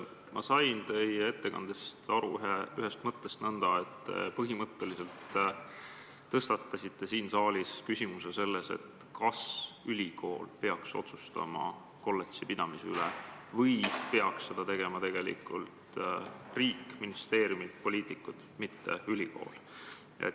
Ma sain teie ettekannet kuulates ühest mõttest aru nõnda, et põhimõtteliselt te tõstatasite siin saalis küsimuse, kas ülikool peaks otsustama kolledži pidamise üle või peaks seda tegema tegelikult riik – ministeeriumid, poliitikud –, mitte ülikool.